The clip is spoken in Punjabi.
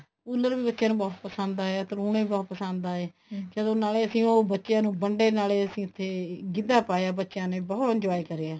ਕੂਲਰ ਵੀ ਬੱਚਿਆਂ ਨੂੰ ਬਹੁਤ ਪਸੰਦ ਆਇਆ ਤਲੁਨੇ ਵੀ ਬਹੁਤ ਪਸੰਦ ਆਏ ਚਲੋ ਅਸੀਂ ਨਾਲੇ ਉਹ ਬੱਚਿਆਂ ਨੂੰ ਵੰਡੇ ਨਾਲੇ ਅਸੀਂ ਉੱਥੇ ਅਸੀਂ ਗਿੱਧਾ ਪਾਇਆ ਬੱਚਿਆਂ ਨੇ ਬਹੁਤ enjoy ਕਰਿਆ